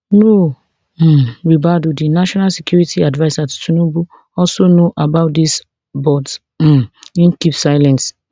nuhu um ribadu di national security adviser to tinubu also know about dis but um im keep silent